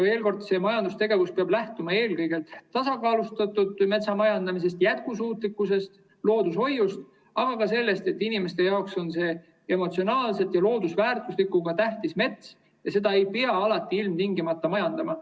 Veel kord, see majandustegevus peab lähtuma eelkõige tasakaalustatud metsamajandamisest, jätkusuutlikkusest, loodushoiust, aga ka sellest, et inimeste jaoks on see emotsionaalselt ja loodusväärtuslikult tähtis mets ja seda ei pea alati ilmtingimata majandama.